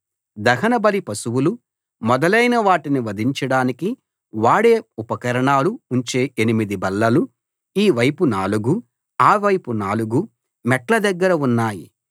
దహనబలి పశువులు మొదలైన వాటిని వధించడానికి వాడే ఉపకరణాలు ఉంచే ఎనిమిది బల్లలు ఈ వైపు నాలుగు ఆ వైపు నాలుగు మెట్ల దగ్గర ఉన్నాయి